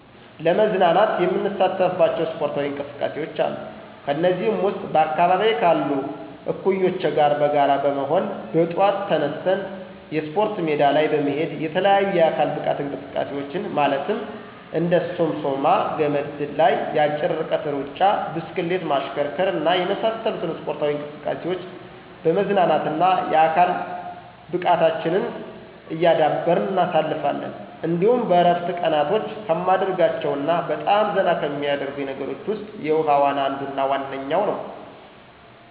ለመዝናናት የምሳተፍባቸው ስፖርታዊ እንቅስቃሴዎች አሉ። ከነዚህም ውስጥ በአካባቢየ ካሉ እኩዮቸ ጋር በጋራ በመሆን በጠዋት ተነስተን የስፖርት ሜዳ ላይ በመሄድ የተለያዩ የአካል ብቃት እንቅስቃሴዎችን ማለትም እንደ ሶምሶማ፣ ገመድ ዝላይ፣ የአጭር ርቀት ሩጫ፣ ብስክሌት ማሽከርከር እና የመሳሰሉትን ስፖርታዊ እንቅስቃሴዎች በመዝናናትና የአካል ብቃታችንን እያዳበርን እናሳልፋለን። እንዲሁም በእረፍት ቀናቶቸ ከማደርጋቸው እና በጣም ዘና ከሚያደርጉኝ ነገሮች ውስጥ የውሀ ዋና አንዱና ዋነኛው ነዉ።